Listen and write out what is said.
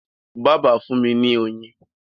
bàbà fún mí ní oyin.